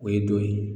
O ye don ye